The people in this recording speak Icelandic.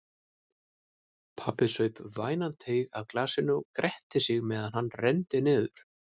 Pabbi saup vænan teyg af glasinu og gretti sig meðan hann renndi niður.